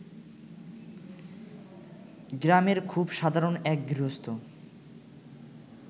গ্রামের খুব সাধারণ এক গৃহস্থ